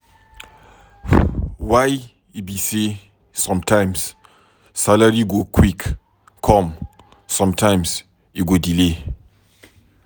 Why e be sey sometimes salary go quick come, sometime e go delay?